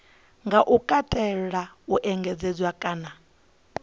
nga katela u engedzedzwa kana